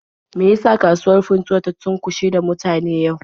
Me ya sa kasuwar Funtuwa ta cunkushe da mutane yau?